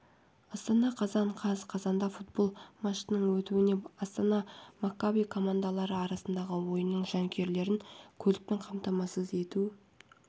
астана қазан қаз қазанда футбол матчының өтуіне астана маккаби командалары арасындағы ойынның жанкүйерлерін көлікпен қамтамасыз ету